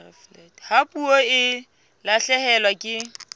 ha puo e lahlehelwa ke